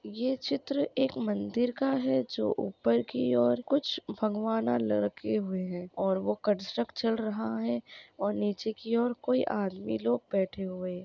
ये चित्र एक मंदिर का है जो उपर की और कुछ भागवाना लडके हुए है और वो कन्ट्रक्शन चल रहा है और नीचे की और कोई आदमी बैठे हुए है।